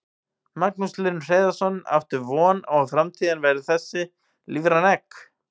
Magnús Hlynur Hreiðarsson: Áttu von á að framtíðin verði þessi, lífræn egg?